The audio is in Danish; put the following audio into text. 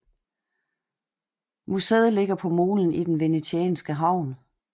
Muséet ligger på molen i den venetianske havn